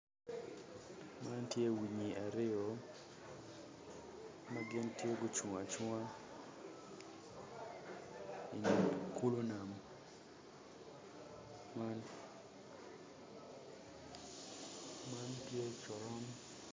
Man tye winyi aryo ma gin tye gucung acunga i kulu nam man man tye curon